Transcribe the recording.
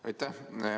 Aitäh!